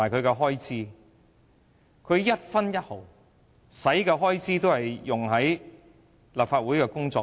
他們所花的一分一毫也是用於立法會的工作。